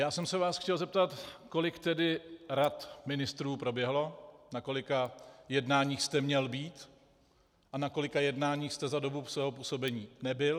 Já jsem se vás chtěl zeptat, kolik tedy rad ministrů proběhlo, na kolika jednáních jste měl být a na kolika jednáních jste za dobu svého působení nebyl.